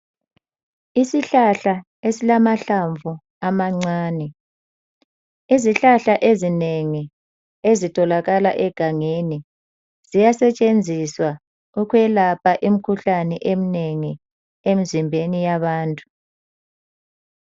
Isihlahla esilamahlamvu amancane, izihlahla ezinengi ezitholakala egangeni ziyasetshenziswa ukuyelapha imikhuhlane eminengi emzimbeni yabantu.